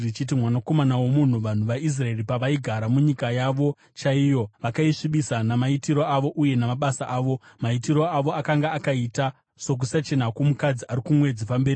“Mwanakomana womunhu, vanhu vaIsraeri pavaigara munyika yavo chaiyo, vakaisvibisa namaitiro avo uye namabasa avo. Maitiro avo akanga akaita sokusachena kwomukadzi ari kumwedzi pamberi pangu.